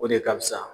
O de ka fusa